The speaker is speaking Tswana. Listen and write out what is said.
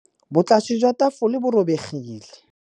Botlasê jwa tafole bo robegile.